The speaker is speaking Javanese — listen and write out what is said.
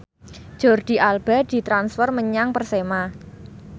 Jordi Alba ditransfer menyang Persema